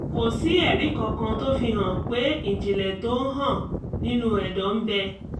kò sí ẹ̀rí kankan tó fi hàn pé ìjìnlẹ̀ tó ń hàn nínú ẹ̀dọ́ ń bẹ